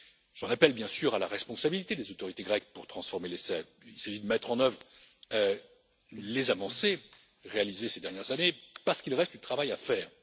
J'en appelle, bien sûr, à la responsabilité des autorités grecques pour transformer l'essai. Il s'agit de mettre en œuvre les avancées réalisées ces dernières années, parce qu'il reste du travail à faire.